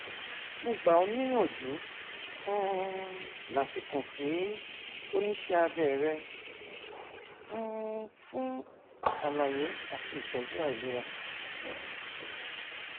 mo gbà ọ níyànjú um láti kàn sí oníṣẹ abẹ rẹ um fún àlàyé àti ìtọjú àìlera